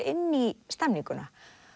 inn í stemninguna